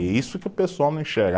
E isso que o pessoal não enxerga.